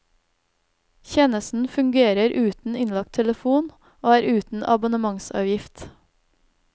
Tjenesten fungerer uten innlagt telefon og er uten abonnementsavgift.